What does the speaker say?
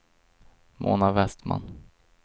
Mona Westman